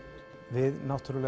við